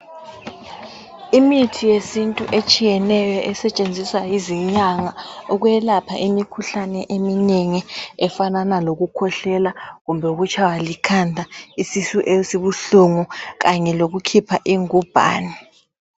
Imithi yesintu etshiyeneyo esetshenziswa yizinyanga ukwelapha imikhuhlane eminengi efanana lokukhwehlela kumbe ukutshaywa likhanda , isisu esibuhlungu kanye lokukhipha ingubhane.